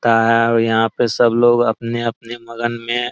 ता है और यहाँ पे सब लोग आपने-आपने मगन में --